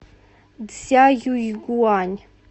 цзяюйгуань